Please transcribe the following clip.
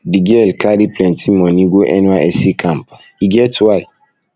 di girl carry plenty moni go nysc camp e get why